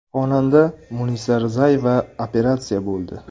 Xonanda Munisa Rizayeva operatsiya bo‘ldi.